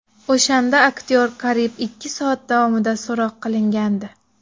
O‘shanda aktyor qariyb ikki soat davomida so‘roq qilingandi.